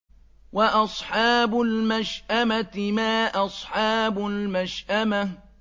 وَأَصْحَابُ الْمَشْأَمَةِ مَا أَصْحَابُ الْمَشْأَمَةِ